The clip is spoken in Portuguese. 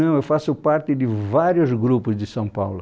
Não, eu faço parte de vários grupos de São Paulo.